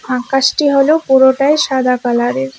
আকাশটি হলো পুরোটাই সাদা কালারের